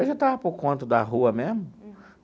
Eu já estava por conta da rua mesmo.